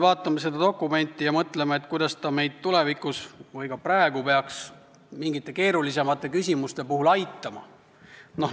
Vaatame seda dokumenti ja mõtleme, kuidas ta meid tulevikus või ka praegu peaks mingite keerulisemate küsimuste lahendamisel aitama.